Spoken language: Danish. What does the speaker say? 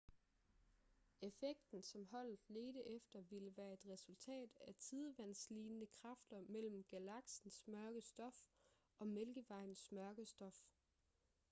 effekten som holdet ledte efter ville være et resultat af tidevandslignende kræfter mellem galaksens mørke stof og mælkevejens mørke stof